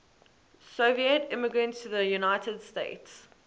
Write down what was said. soviet immigrants to the united states